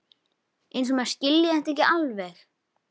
Eins og maður skilji þetta ekki alveg!